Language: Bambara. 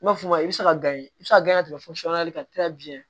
I b'a fɔ i bɛ se ka i bɛ se ka gan ka tɛmɛ kan biɲɛ